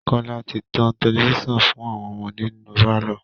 Kọ́ọ́lá ti tan tẹlifíṣàn fún àwọn ọmọdé nínú pálọ̀